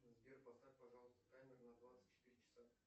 сбер поставь пожалуйста таймер на двадцать четыре часа